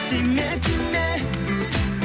тиме тиме